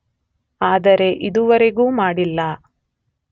ಆದರೆ ಇದುವರೆಗೂ ಮಾಡಿಲ್ಲ.